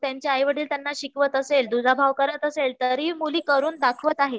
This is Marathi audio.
त्यांचे आईवडील त्यांना शिकवत असेल दुजाभाव करत असेल तरी मुली करून दाखवतं आहेत